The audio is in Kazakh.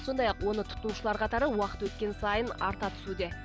сондай ақ оны тұтынушылар қатары уақыт өткен сайын арта түсуде